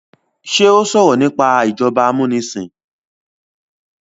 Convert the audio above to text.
ṣe o sọrọ nipa ìjọba amunisin?